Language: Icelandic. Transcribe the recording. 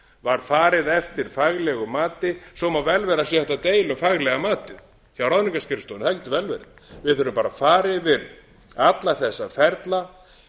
var farið eftir faglegu mati svo má vel vera að það sé hægt að deila um faglega matið hjá ráðningarskrifstofunni það getur vel verið við þurfum bara að fara yfir alla þessa ferla